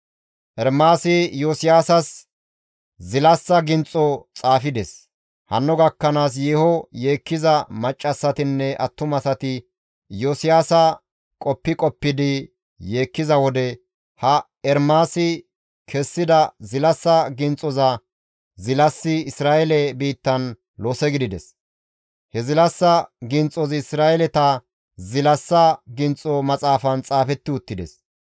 Ermaasi Iyosiyaasas zilassa ginxo xaafides; hanno gakkanaas yeeho yeekkiza maccassatinne attumasati Iyosiyaasa qoppi qoppidi yeekkiza wode, ha Ermaasi kessida zilassa ginxoza zilasi Isra7eele biittan lose gidides; he zilassa ginxozi Isra7eeleta Zilassa ginxo Maxaafan xaafetti uttides.